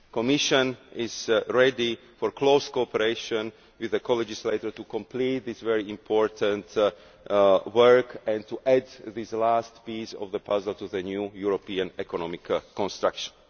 The Commission is ready for close cooperation with the co legislator to complete this very important work and add this last piece of the puzzle for the new European economic construction.